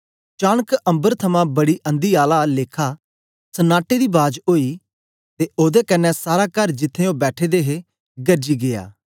चानक अम्बर थमां बड़ी अंधी आला लेखा सननाटे दी बाज ओई ते ओदे कन्ने सारा कर जित्त्थें ओ बैठे दे हे गरजी गीया